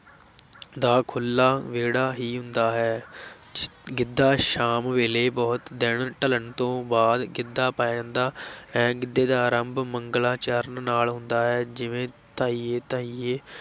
ਦਾ ਖੁੱਲਾ ਵਿਹੜਾ ਹੀ ਹੁੰਦਾ ਹੈ ਗਿੱਧਾ ਸ਼ਾਮ ਵੇਲੇ ਬਹੁਤ ਦਿਨ ਢਲਣ ਤੋਂ ਬਾਅਦ ਗਿੱਧਾ ਪਾਇਆ ਜਾਂਦਾ ਹੈ, ਗਿੱਧੇ ਦਾ ਆਰੰਭ ਮੰਗਲਾਚਰਨ ਨਾਲ ਹੁੰਦਾ ਹੈ ਜਿਵੇਂ ਧਾਈਏ, ਧਾਈਏ,